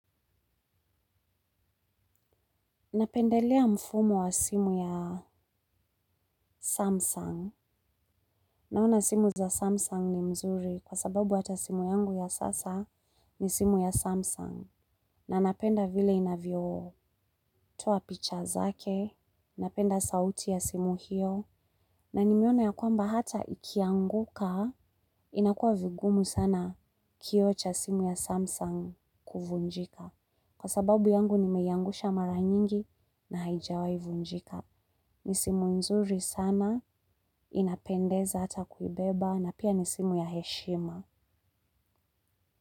Napendelea mfumo wa simu ya Samsung naona simu za Samsung ni mzuri kwa sababu hata simu yangu ya sasa ni simu ya Samsung na napenda vile inavyo toa picha zake napenda sauti ya simu hiyo na nimeona ya kwamba hata ikianguka inakua vigumu sana kio cha simu ya Samsung kuvunjika kwa sababu yangu nimeiyangusha mara nyingi na haijawai vunjika. Ni simu nzuri sana, inapendeza hata kuibeba na pia ni simu ya heshima.